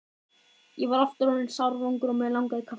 Ég var aftur orðinn sársvangur og mig langaði í kaffi.